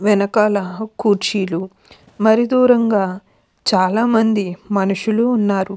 వెనకాల కుర్చీలు మరి దూరంగా చాలా మంది మనుషులు ఉన్నారు.